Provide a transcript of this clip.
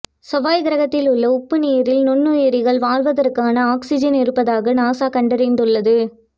செவ்வாய் கிரகத்தில் உள்ள உப்பு நீரில் நுண்ணியிரிகள் வாழ்வதற்கான ஒக்ஸிஜன் இருப்பதாக நாசா கண்டறிந்துள்ளது